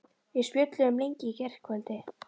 Við spjölluðum lengi í gærkvöldi.